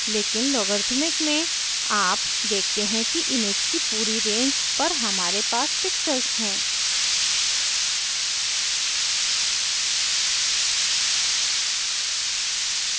लेकिन logarithmic में आप देखते हैं कि image की पूरी range पर हमारे पास pixels हैं